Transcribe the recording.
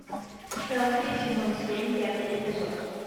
селфи сезон семь пятый эпизод